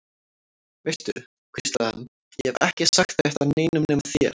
Veistu, hvíslaði hann, ég hef ekki sagt þetta neinum nema þér.